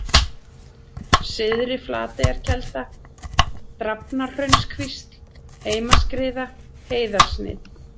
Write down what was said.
Syðri-Flateyjarkelda, Drafnarhraunskvísl, Heimaskriða, Heiðarsnið